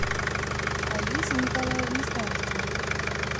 олесе николаевне старостиной